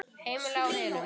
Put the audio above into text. Heimili á hinum.